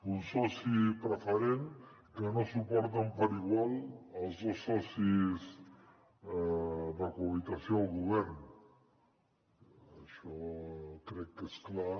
un soci preferent que no suporten per igual els dos socis de cohabitació del govern això crec que és clar